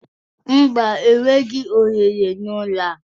Mba, enweghị ohere na ụlọ a